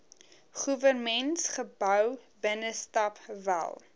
goewermentsgebou binnestap wel